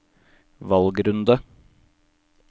valgrunde